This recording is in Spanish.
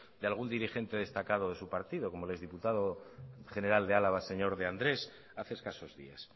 de algún dirigente destacado de su partido como el ex diputado general de álava el señor de andrés hace escasos días